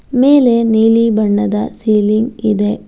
ಮೇಲೆ ನೀಲಿ ಬಣ್ಣದ ಸೀಲಿಂಗ್ ಇದೆ.